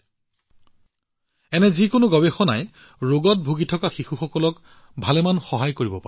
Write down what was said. এনে ধৰণৰ যিকোনো গৱেষণাই সমগ্ৰ বিশ্বতে ডাউন চিণ্ড্ৰোমত ভুগি থকা শিশুসকলক যথেষ্ট সহায় কৰিব পাৰে